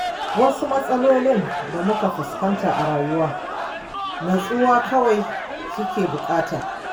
Wasu matsalolin da muka fuskanta a rayuwa nutsuwa kawai suke buƙata.